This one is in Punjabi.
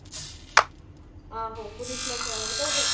ਆਹੂ ਪੁਲੀਸ ਲੈਕੇ ਆਈ ਫੇਰ